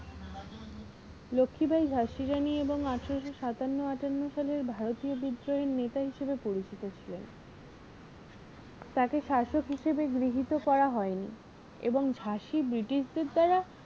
লক্ষীবাঈ ঝাঁসীররানী এবং আঠারোশো সাতান্ন আটান্ন সালের ভারতীয় বিদ্রোহের নেতা হিসাবে পরিচিত ছিলেন তাকে শাসক হিসাবে গৃহীত করা হয়নি এবং ঝাঁসি british দের দ্বারা